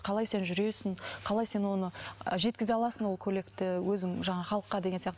қалай сен жүресің қалай сен оны жеткізе аласың ол көйлекті өзің жаңағы халыққа деген сияқты